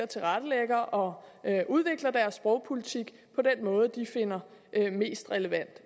tilrettelægger og udvikler deres sprogpolitik på den måde de finder mest relevant